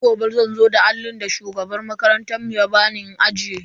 Sai gobe zan zo da allin da shugaban makarantar mu ba bani in ajiye.